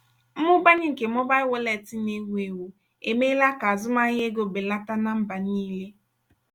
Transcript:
mmụbawanye nke mobail wọleetị na- ewu ewu emeela ka azụmahịa ego belata na mba niile.